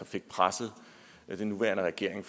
fik presset den nuværende regering